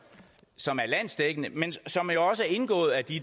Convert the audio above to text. som er landsdækkende men som jo også er indgået af de